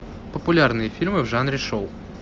популярные фильмы в жанре шоу